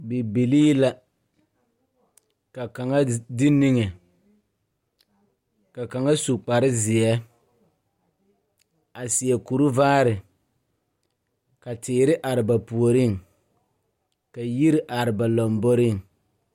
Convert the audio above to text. Bibilii la ka kaŋa de niŋe ka kaŋa su kparezeɛ a seɛ kurivaare ka teere are ba puoriŋ ka yiri are ba lamboriŋ.